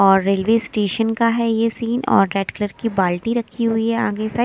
और railway station का है ये सीन और रेड कलर की बाल्टी रखी हुई आगे साइड --